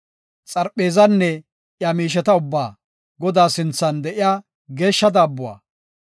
xarpheezanne iya miisheta ubbaa, Godaa sinthan de7iya geeshsha daabbuwa,